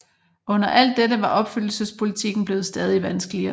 Under alt dette var opfyldelsespolitikken blevet stadig vanskeligere